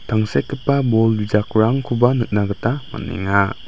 tangsekgipa bol bijakrangkoba nikna gita man·enga.